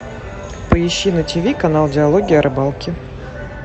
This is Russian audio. поищи на тв канал диалоги о рыбалке